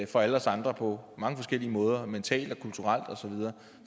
fra alle os andre på mange forskellige måder mentalt og kulturelt